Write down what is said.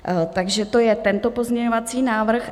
Takže to je tento pozměňovací návrh.